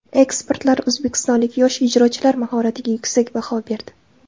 Ekspertlar o‘zbekistonlik yosh ijrochilar mahoratiga yuksak baho berdi.